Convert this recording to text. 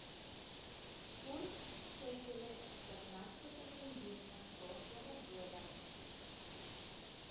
курс шекеля пятнадцатого июня прошлого года